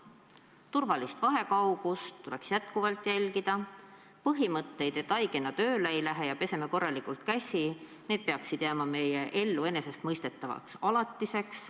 Turvalist vahekaugust tuleks endiselt jälgida, põhimõtted, et haigena tööle ei lähe ja peseme korralikult käsi – need peaksid jääma meie elus enesestmõistetavaks alatiseks.